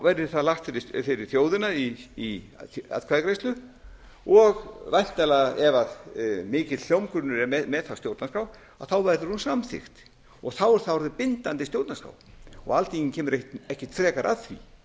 verði það lagt fyrir þjóðina í atkvæðagreiðslu og væntanlega ef mikill hljómgrunnur er með stjórnarskrá verður hún samþykkt þá er það orðið bindandi stjórnarskrá og alþingi kemur ekkert frekar að því